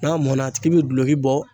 N'a mɔnna a tigi bɛ duloki bɔ.